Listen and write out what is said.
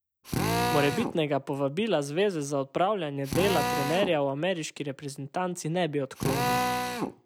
Morebitnega povabila zveze za opravljanje dela trenerja v ameriški reprezentanci ne bi odklonil.